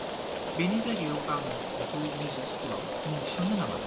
-बेनि जायगायाव आं बिखौ मिउजिक स्कुलआव मुं थिसन्नो नामा?